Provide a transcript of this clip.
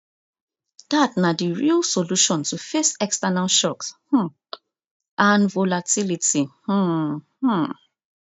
dat na di real solution to face external shocks um and volatility um um